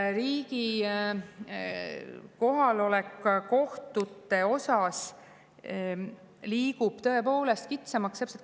Riigi kohalolek kohtute osas tõepoolest.